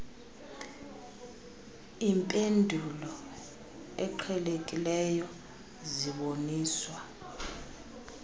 impendulo eqhelekileyo ziboniswa